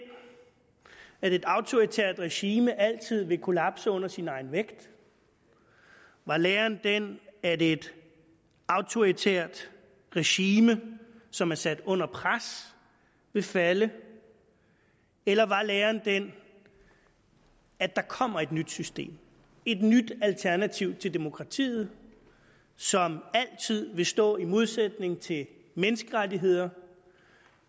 at et autoritært regime altid vil kollapse under sin egen vægt var læren den at et autoritært regime som er sat under pres vil falde eller var læren den at der kommer et nyt system et nyt alternativ til demokratiet som altid vil stå i modsætning til menneskerettigheder